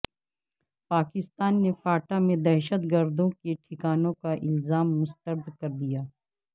پاکستان نے فاٹا میں دہشتگردوں کے ٹھکانوں کا الزام مسترد کر دیا